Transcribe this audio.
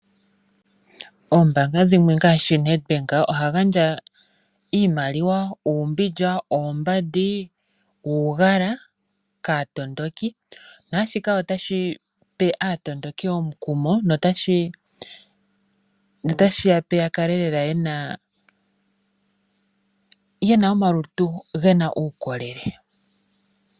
Oombanga dhimwe ngaashi NedBank oha gandja iimaliwa, uumbindja, oombandi nuugala kaatondoki naashika otashi pe aatondoki omukumo notashi ya pe ya kale yena omalutu gena uukolele.